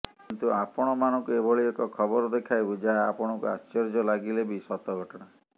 କିନ୍ତୁ ଆପଣମାନଙ୍କୁ ଏଭଳି ଏକ ଖବର ଦେଖାଇବୁ ଯାହା ଆପଣଙ୍କୁ ଆଶ୍ଚର୍ଯ୍ୟ ଲାଗିଲେ ବି ସତ ଘଟଣା